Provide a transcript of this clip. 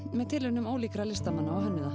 með tilraunum ólíkra listamanna og hönnuða